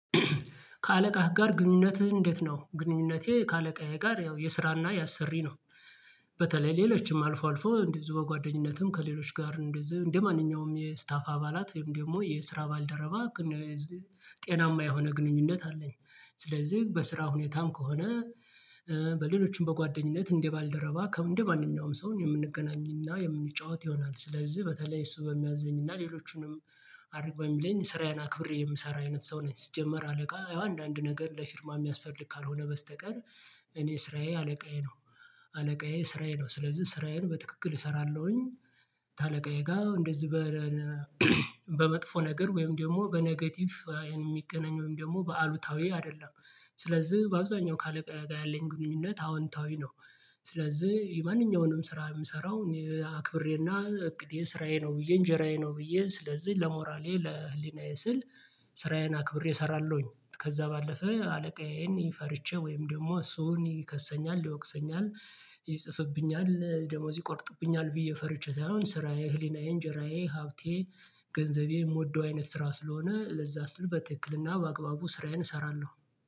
ከአለቃህ ጋር ግንኙነትህ እንዴት ነው? ግንኙነቴ ከአለቃዬ ጋር ያው የስራና የአሰሪ ነው። በተለይ ሌሎችም አልፎ አልፎ እንደዚሁ በጓደኝነትም ከሌሎች ጋር እንደዚሁ እንደማንኛውም የስታፍ አባላት ደግሞ የስራ ባልደረባ ጤናማ የሆነ ግንኙነት አለኝ። ስለዚህ በስራ ሁኔታም ከሆነ በሌሎችም በጓደኝነት እንደ ባልደረባ ከምንድነው ማንኛውም ሰውን የምንገናኝና የምንጫወት ይሆናል። ስለዚህ በተለይ እሱ በሚያዘኝ እና ሌሎቹንም አድርገው የሚለኝ ስራዬን አክብሬ የምሰራ አይነት ሰው ነኝ ሲጀመር አለቃ አንዳንድ ነገር ለፊርማ የሚያስፈልግ ካልሆነ በስተቀር እኔ ስራዬ አለቃዬ ነው። አለቃዬ ስራዬ ነው ስለዚህ ስራዬን በትክክል እሰራለሁኝ ካለቃዬ ጋር እንደዚህ በመጥፎ ነገር ወይም ደግሞ በኔጌቲቭ የሚገናኝ ወይም ደግሞ በአሉታዊ አይደለም። ስለዚህ በአብዛኛው ከአለቃ ጋር ያለኝ ግንኙነት አወንታዊ ነው። ስለዚህ የማንኛውንም ስራ የምሰራው አክብሬና እቅዴ ስራዬ ነው ብዬ እንጀራዬ ነው ብዬ ስለዚህ ለሞራሌ ለህሊናዬ ስል ስራዬን አክብሬ እሰራለሁኝ። ከዛ ባለፈ አለቃዬን ይፈርቸ ወይም ደግሞ እሱን ይከሰኛል፣ ይወቅሰኛል፣ ይጽፍብኛል፣ ደሞዝ ይቆርጥብኛል ብዬ ፈርቼ ሳይሆን ስራዬ ህሊናዬ እንጀራዬ ሀብቴ ገንዘቤ የምወደው አይነት ስራ ስለሆነ ለዛ ስል በትክክልና በአግባቡ ስራዬን እሰራለሁ።